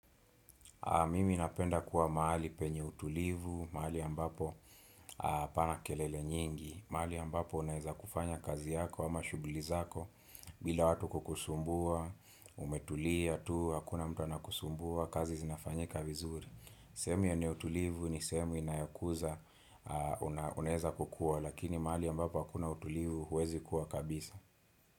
Mimi napenda kuwa mahali penye utulivu, mahali ambapo hapana kelele nyingi, mahali ambapo unaweza kufanya kazi yako ama shughuli zako, bila watu kukusumbua, umetulia, tu, hakuna mtu anakusumbua, kazi zinafanyika vizuri. Sehemu yenye utulivu ni sehemu inayokuza unaweza kukua, lakini mahali ambapo hakuna utulivu huwezi kua kabisa.